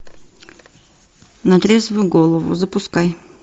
на трезвую голову запускай